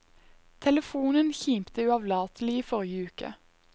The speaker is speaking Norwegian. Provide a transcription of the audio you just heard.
Telefonen kimte uavlatelig i forrige uke.